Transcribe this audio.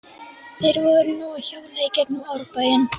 Þeir voru nú að hjóla í gegnum Árbæinn.